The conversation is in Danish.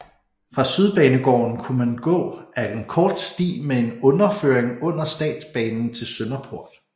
Fra Sydbanegården kunne man gå ad en kort sti med en underføring under statsbanen til Sønderport